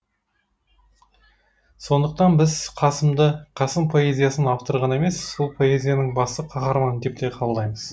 сондықтан біз қасымды қасым поэзиясының авторы ғана емес сол поэзияның басты қаһарманы деп те қабылдаймыз